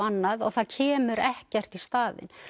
annað og það kemur ekkert í staðinn